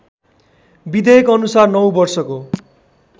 विधेयकअनुसार ९ वर्षको